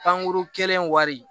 Kankuru kelen wari